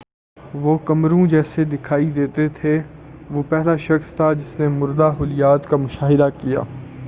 وہ کمروں جیسے دکھائی دیتے تھے وہ پہلا شخص تھا جس نے مردہ خلیات کا مشاہدہ کیا